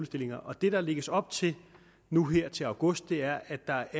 stillinger og det der lægges op til nu her til august er at der